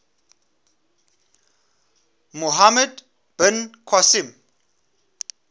muhammad bin qasim